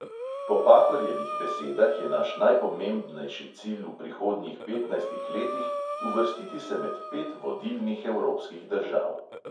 Po pahorjevih besedah je naš najpomembnejši cilj v prihodnjih petnajstih letih uvrstiti se med pet vodilnih evropskih držav.